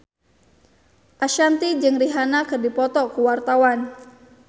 Ashanti jeung Rihanna keur dipoto ku wartawan